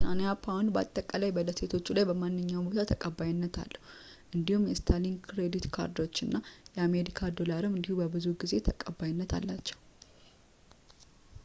የብሪታንያ ፓውንድ በአጠቃላይ በደሴቶቹ ላይ በማንኛውም ቦታ ተቀባይነት አላቸው እንዲሁም የስታንሊ የክሬዲት ካርዶች እና የአሜሪካ ዶላርም እንዲሁ ብዙውን ጊዜ ተቀባይነት አላቸው